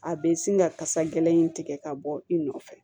A bɛ sin ka kasa gɛlɛn in tigɛ ka bɔ i nɔfɛ